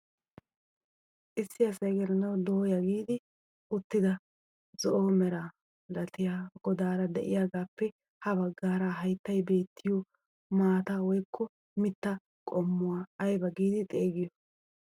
Issi asay gelanawu dooya gidi uttida zo'o mera milatiyaa godaara de'iyaagappe ha baggaaraa hayttay beettiyoo maataa woykko mittaa qommuwaa ayba giidi xeegiyoo?